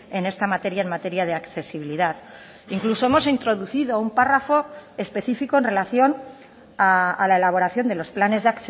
en esta materia en materia de accesibilidad incluso hemos introducido un párrafo específico en relación a la elaboración de los planes de